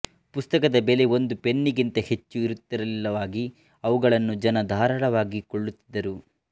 ಪುಸ್ತಕದ ಬೆಲೆ ಒಂದು ಪೆನ್ನಿಗಿಂತ ಹೆಚ್ಚು ಇರುತ್ತಿರಲಿಲ್ಲವಾಗಿ ಅವುಗಳನ್ನು ಜನ ಧಾರಾಳವಾಗಿ ಕೊಳ್ಳುತ್ತಿದ್ದರು